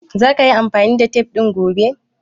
Za ka yi amfani da tef ɗin gobe?